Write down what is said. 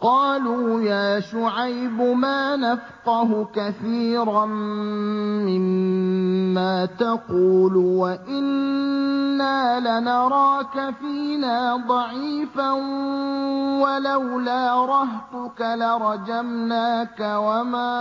قَالُوا يَا شُعَيْبُ مَا نَفْقَهُ كَثِيرًا مِّمَّا تَقُولُ وَإِنَّا لَنَرَاكَ فِينَا ضَعِيفًا ۖ وَلَوْلَا رَهْطُكَ لَرَجَمْنَاكَ ۖ وَمَا